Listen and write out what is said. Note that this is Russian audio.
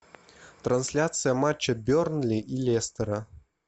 трансляция матча бернли и лестера